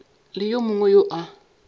le yo mongwe yo a